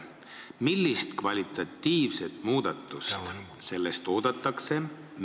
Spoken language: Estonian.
Millist kvalitatiivset muudatust sellest oodatakse?